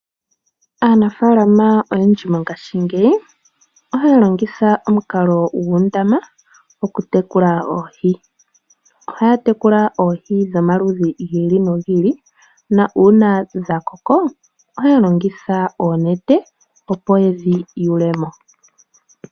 Aanafaalama oyendji mongashingeyi ohaya longitha omukalo gwoondama okutekula oohi. Ohaya tekula oohi dhomaludhi gi iki nogi ili nuuna dha koko ohaya longitha oonete opp yedhi yulemo